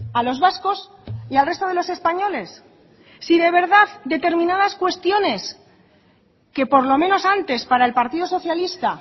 a los vascos y al resto de los españoles si de verdad determinadas cuestiones que por lo menos antes para el partido socialista